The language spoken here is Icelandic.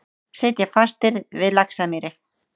Sitja fastir við Laxamýri